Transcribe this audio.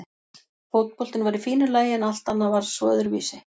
Fótboltinn var í fínu lagi en allt annað var svo öðruvísi.